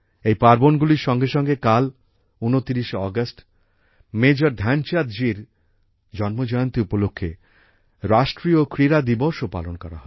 এই পার্বণগুলির সঙ্গে সঙ্গে কাল ২৯শে আগষ্ট মেজর ধ্যানচাঁদ জীর জন্মজয়ন্তী উপলক্ষে রাষ্ট্রীয় ক্রীড়া দিবসও পালন করা হবে